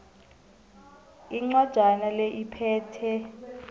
incwajana le iphethe